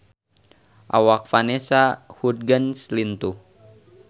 Awak Vanessa Hudgens lintuh